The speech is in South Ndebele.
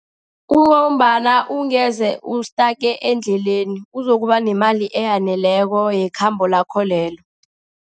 Kungombana ungeze u-stuck endleleni uzokuba nemali eyaneleko yekhambo lakho lelo.